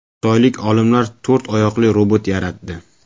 Xitoylik olimlar to‘rt oyoqli robot yaratdi.